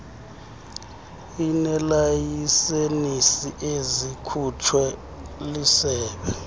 ineelayisenisi ezikhutshwe lisebe